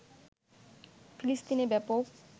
ফিলিস্তিনে ব্যাপক